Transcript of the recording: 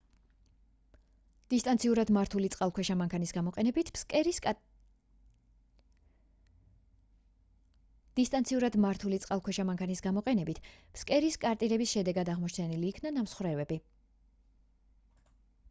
დისტანციურად მართული წყალქვეშა მანქანის გამოყენებით ფსკერის კარტირების შედეგად აღმოჩენილ იქნა ნამსხვრევები